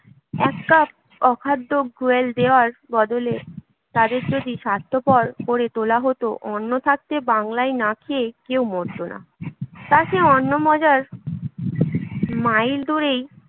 এক কাপ অখাদ্য গ্রুয়েল দেওয়ার বদলে তাদের যদি স্বার্থপর করে তোলা হত, অন্ন থাকতে বাংলায় না খেয়ে কেউ মরত না তা সে অন্ন হাজার মাইল দূরেই